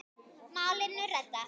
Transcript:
Málinu reddað.